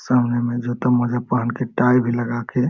सामने में जूता-मोजा पहन के टाई भी लगा के --